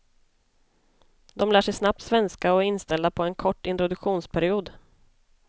De lär sig snabbt svenska och är inställda på en kort introduktionsperiod.